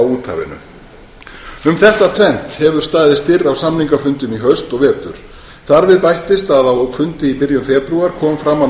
úthafinu um þetta tvennt hefur staðið styrr á samningafundum í haust og vetur þar við bættist að á fundi í byrjun febrúar kom fram að